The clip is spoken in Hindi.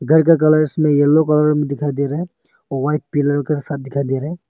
घर का कलर्स में येलो कलर में दिखाई दे रहा है व्हाइट पिलर के साथ दिखाई दे रहा है।